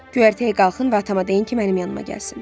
Göyərtəyə qalxın və atama deyin ki, mənim yanıma gəlsin.